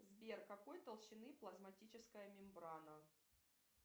сбер какой толщины плазматическая мембрана